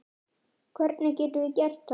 Hvernig getum við gert það?